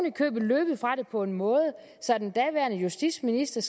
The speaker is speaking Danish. i købet løbet fra det på en måde så den daværende justitsminister